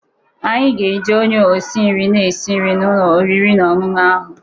Anyị ga-eji onye isi nri na-esi nri n'ụlọ oriri na ọṅụṅụ ahụ